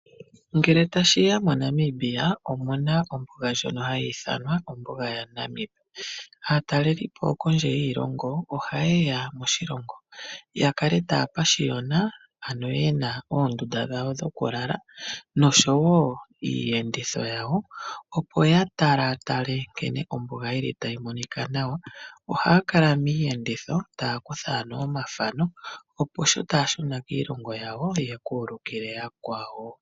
Ngele tashiya moNamibia omu na ombuga ndjono hayi ithanwa ombuga yaNamibia. Aatalelipo kondje yiilongo ohaye ya moshilongo ya kale taya pashiyona, ano ye na oondunda dhawo dhoku lala noshowo iiyenditho yawo. Opo ya talatale nkene ombuga yi li tayi monika nawa. Ohaya kala miiyenditho taya kutha ano omathano opo sho taya shuna kiilongo yawo ya ka ulukile yakwawo.